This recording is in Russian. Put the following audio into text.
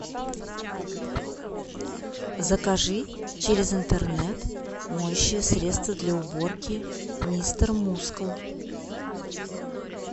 закажи через интернет моющее средство для уборки мистер мускул